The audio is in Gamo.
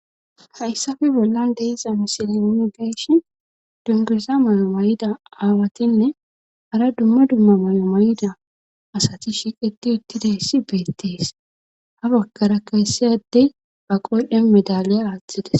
Hayssafe bollan deiza misili on beesh dungiza may'o may7ida aawatinne hara dumma dumma may7o mayida asati shiqeti uttidayssi beettees ha bakkara keessiyaddey ba qoydhen medaliya aaxxides.